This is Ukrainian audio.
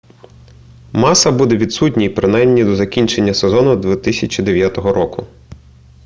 маса буде відсутній принаймні до закінчення сезону 2009 року